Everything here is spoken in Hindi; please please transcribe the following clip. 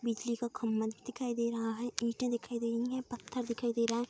बिजली का खम्भा दिखाई दे रहा है। ईटें दिखाई दे रही है। पत्थर दिखाई दे रहा है।